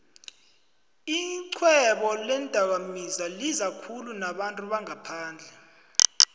ixhwebo leendakamizwalizakhulu nabantu bangaphandle